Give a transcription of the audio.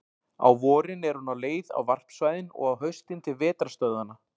Á vorin er hún á leið á varpsvæðin og á haustin til vetrarstöðvanna.